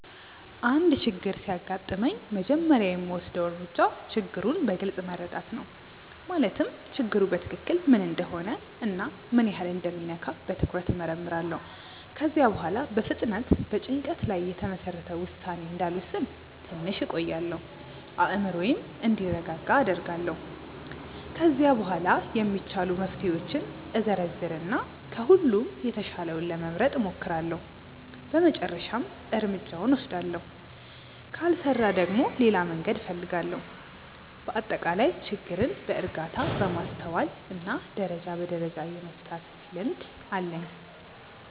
አንድ ችግር ሲያጋጥመኝ መጀመሪያ የምወስደው እርምጃ ችግሩን በግልጽ መረዳት ነው። ማለትም ችግሩ በትክክል ምን እንደሆነ እና ምን ያህል እንደሚነካ በትኩረት እመርምራለሁ። ከዚያ በኋላ በፍጥነት በጭንቀት ላይ የተመሰረተ ውሳኔ እንዳልወስን ትንሽ እቆያለሁ፤ አእምሮዬም እንዲረጋጋ አደርጋለሁ። ከዚያ በኋላ የሚቻሉ መፍትሄዎችን እዘረዝር እና ከሁሉም የተሻለውን ለመምረጥ እሞክራለሁ በመጨረሻም እርምጃውን እወስዳለሁ። ካልሰራ ደግሞ ሌላ መንገድ እፈልጋለሁ። በአጠቃላይ ችግርን በእርጋታ፣ በማስተዋል እና ደረጃ በደረጃ የመፍታት ልምድ አለኝ።